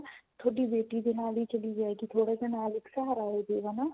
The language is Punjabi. ਥੋਡੀ ਬੇਟੀ ਦੇ ਨਾਲ ਹੀ ਚਲੀ ਜਾਏਗੀ ਥੋੜਾ ਜਾ ਨਾਲ ਇੱਕ ਸਹਾਰਾ ਹੋਜੇਗਾ ਨਾ